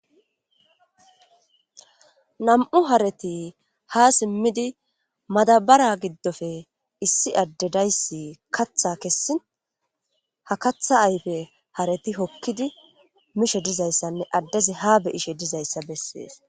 Nam'u hareti ha simidi issi ade de'aysi madabara gidope kaatha kesin katha ayde hareti hokidi mishe dizaysane adezi ha beyishe dizaysa beses